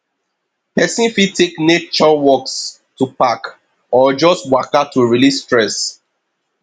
persin fit take nature walks to park or just waka to release stress